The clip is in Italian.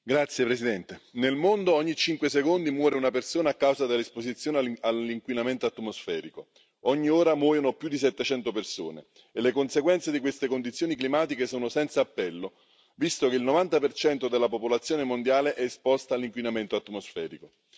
Signor Presidente, onorevoli colleghi, nel mondo ogni cinque secondi muore una persona a causa dell'esposizione all'inquinamento atmosferico ogni ora muoiono più di 700 persone. Le conseguenze di queste condizioni climatiche sono senza appello, visto che il 90 della popolazione mondiale è esposta all'inquinamento atmosferico.